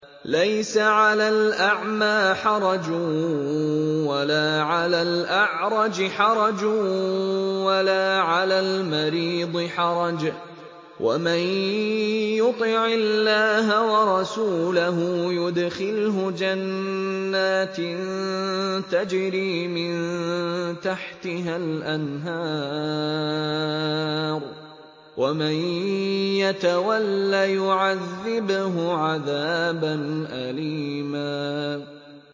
لَّيْسَ عَلَى الْأَعْمَىٰ حَرَجٌ وَلَا عَلَى الْأَعْرَجِ حَرَجٌ وَلَا عَلَى الْمَرِيضِ حَرَجٌ ۗ وَمَن يُطِعِ اللَّهَ وَرَسُولَهُ يُدْخِلْهُ جَنَّاتٍ تَجْرِي مِن تَحْتِهَا الْأَنْهَارُ ۖ وَمَن يَتَوَلَّ يُعَذِّبْهُ عَذَابًا أَلِيمًا